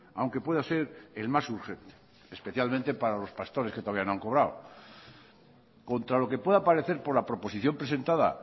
aunque pueda ser el más urgente especialmente para los pastores que todavía no han cobrado contra lo que pueda parecer por la proposición presentada